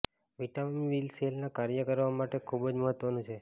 vitamin B સેલના કાર્ય કરવા માટે ખૂબ જ મહત્વનું છે